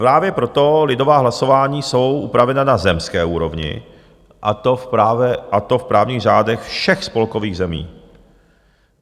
Právě proto lidová hlasování jsou upravena na zemské úrovni, a to v právních řádech všech spolkových zemí.